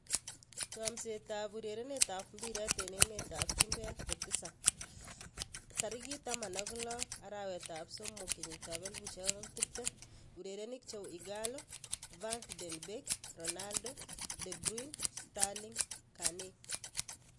Chomset ab urerenet ab mbiret eng emet ab chumbek kotisap 16.03.2020: Ighalo, Van de Beek, Ronaldo, De Bruyne, Sterling, Kane